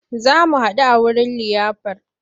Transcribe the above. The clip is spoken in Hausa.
Za mu haɗu a wurin liyafar.